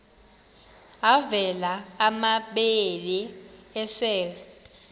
avela amabele esel